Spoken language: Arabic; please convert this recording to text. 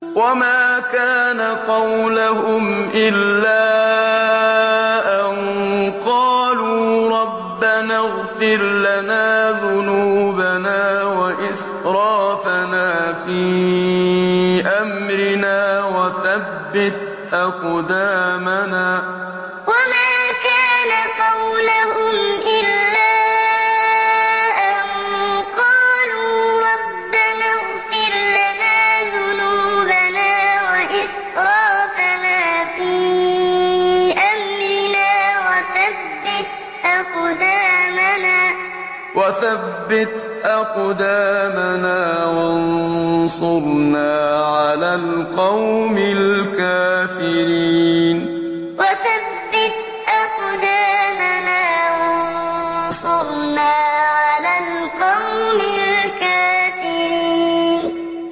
وَمَا كَانَ قَوْلَهُمْ إِلَّا أَن قَالُوا رَبَّنَا اغْفِرْ لَنَا ذُنُوبَنَا وَإِسْرَافَنَا فِي أَمْرِنَا وَثَبِّتْ أَقْدَامَنَا وَانصُرْنَا عَلَى الْقَوْمِ الْكَافِرِينَ وَمَا كَانَ قَوْلَهُمْ إِلَّا أَن قَالُوا رَبَّنَا اغْفِرْ لَنَا ذُنُوبَنَا وَإِسْرَافَنَا فِي أَمْرِنَا وَثَبِّتْ أَقْدَامَنَا وَانصُرْنَا عَلَى الْقَوْمِ الْكَافِرِينَ